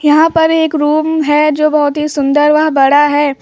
यहां पर एक रूम है जो बहोत ही सुंदर वह बड़ा है।